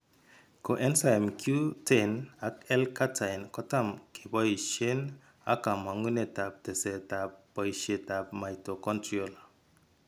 Coenzyme Q10 ak L cartine kotam keboisien ak kamang'unet ab teseet ab boisiet ab mitochondrial